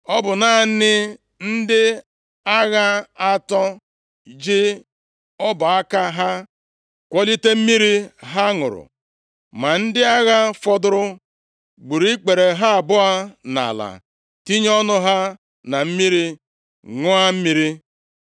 Ọ bụ naanị narị ndị agha atọ ji ọbụ aka ha kwọlịte mmiri ha ṅụrụ. Ma ndị agha fọdụrụ gburu ikpere ha abụọ nʼala tinye ọnụ ha na mmiri, ṅụọ mmiri.